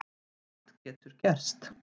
Allt getur gerst